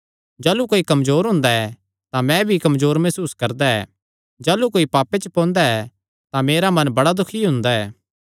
जाह़लू कोई कमजोर हुंदा ऐ तां मैं भी कमजोर मसूस करदा ऐ जाह़लू कोई पापे च पोंदा ऐ तां मेरा मन बड़ा दुखी हुंदा ऐ